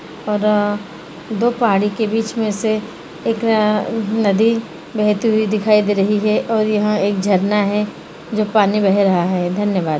और दो पहाड़ी के बीच में से एक अ-नदी बहती हुई दिखाई दे रही है और यहाँ एक झरना है जो पानी बह रहा है धन्यवाद।